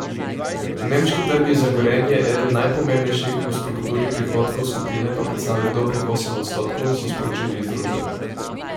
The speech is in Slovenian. Nemški trg je za Gorenje eden najpomembnejših, v strukturi prihodkov skupine pa predstavlja dobrih osem odstotkov, so sporočili iz družbe.